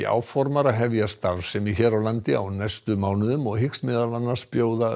áformar að hefja starfsemi hér á landi á næstu mánuðum og hyggst meðal annars bjóða